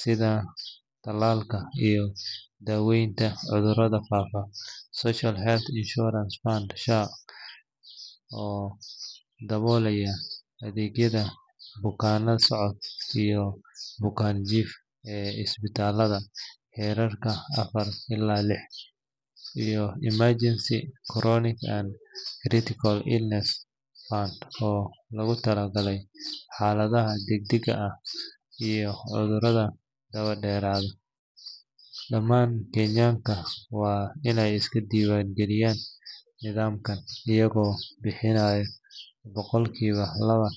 sida talaalka iyo daaweynta cudurrada fudud; Social Health Insurance Fund (SHIF) oo daboolaya adeegyada bukaan-socodka iyo bukaan-jiifka ee isbitaalada heerarka afar ilaa lix; iyo Emergency, Chronic, and Critical Illness Fund oo loogu talagalay xaaladaha degdegga ah iyo cudurrada daba-dheeraada. Dhammaan Kenyanka waa inay iska diiwaangeliyaan nidaamkan, iyagoo bixinaya boqolkiiba laba.